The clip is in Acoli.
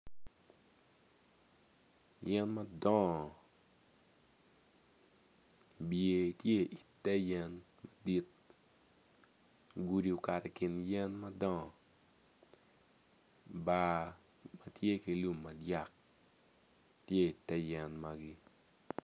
Yen madongo bye tye ite yen gudi okato i kin yen madongo bar am tye ki lum madyak tye ite yen magi.